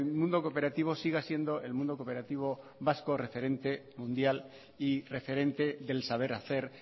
mundo cooperativo siga siendo el mundo cooperativo vasco referente mundial y referente del saber hacer